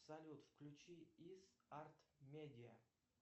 салют включи ис арт медиа